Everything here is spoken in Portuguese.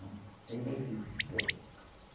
Ainda é vivo, esse peste.